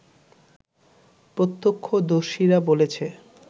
প্রত্যক্ষদর্শীরা বলেছে